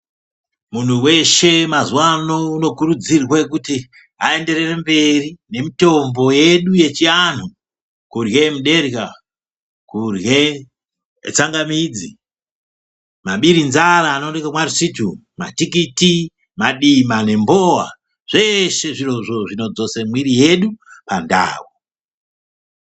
Munhu weshe mazuwa ano unokurudzirwe kuti aenderere mberi nemutombo yedu yechianhu kurye muderya , kurye tsangamidzi , mabirinzara anooneke kwaRisitu , matikiti , madima nembowa .Zveshe zvirozvo zvinodzose mwiri yedu pandau .